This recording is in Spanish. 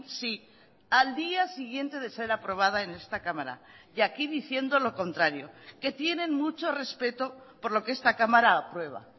sí al día siguiente de ser aprobada en esta cámara y aquí diciendo lo contrario que tienen mucho respeto por lo que esta cámara aprueba